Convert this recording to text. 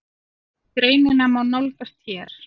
Greinina má nálgast hér